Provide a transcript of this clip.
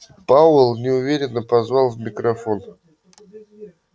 пауэлл неуверенно позвал в микрофон